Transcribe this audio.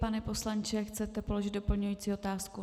Pane poslanče, chcete položit doplňující otázku?